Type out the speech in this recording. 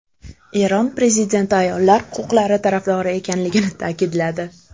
Eron prezidenti ayollar huquqlari tarafdori ekanligini ta’kidladi .